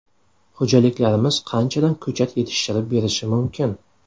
Xo‘jaliklarimiz qanchadan ko‘chat yetishtirib berishi mumkin?